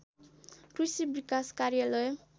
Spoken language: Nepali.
कृषि विकास कार्यालय